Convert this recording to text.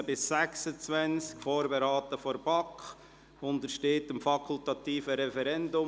» Das Geschäft wurde von der BaK vorberaten und untersteht dem fakultativen Referendum.